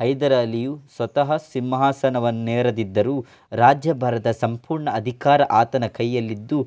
ಹೈದರ್ ಅಲಿ ಸ್ವತಃ ಸಿಂಹಾಸನವನ್ನೇರದಿದ್ದರೂ ರಾಜ್ಯಭಾರದ ಸಂಪೂರ್ಣ ಅಧಿಕಾರ ಆತನ ಕೈಯಲ್ಲಿದ್ದು